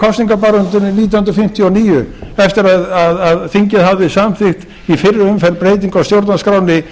kosningabaráttunni nítján hundruð fimmtíu og níu eftir að þingið hafði samþykkt í fyrri umferð breytingu á stjórnarskránni